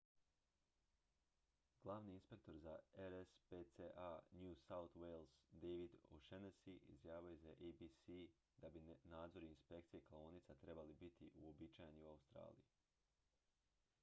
glavni inspektor za rspca new south wales david o'shannessy izjavio je za abc da bi nadzor i inspekcije klaonica trebali biti uobičajeni u australiji